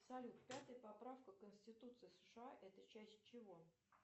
салют пятая поправка конституции сша это часть чего